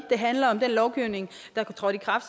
høj grad